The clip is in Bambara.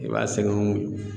I b'a sɛgɛn